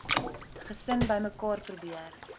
gesin bymekaar probeer